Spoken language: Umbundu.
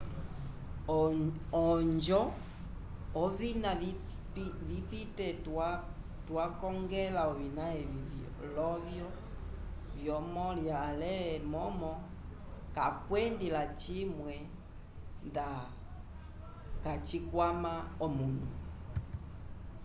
ojo ovina vipite twa kongela ovina evi lovyo vyomolya ale momo kakwendi lacimwe nda kacikwama omunu